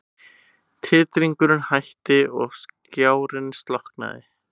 Titringurinn hætti og skjárinn slokknaði.